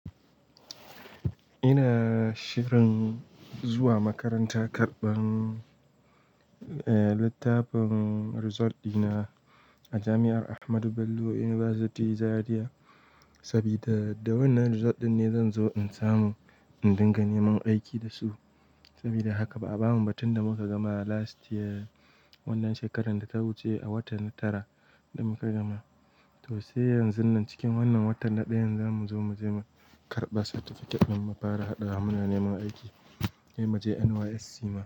Ina shirin zuwa makaranta karɓan, eh, littafin result dina a jami'ar Ahmadu Bello University Zaria. Saboda da wannan result ɗin ne zan zo in samu in dinga neman aiki da su. Saboda haka ba a bamu ba tun da muka gama last year, wannan shekarar da ta wuce a watan Tara da muka gama. To sai yanzun nan cikin wannan watan na ɗaya za mu zo mu je mu karɓa certificate din mu fara haɗa hannu neman aiki. Sai mu je NYSC ma.